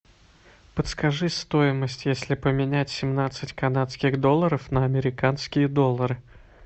подскажи стоимость если поменять семнадцать канадских долларов на американские доллары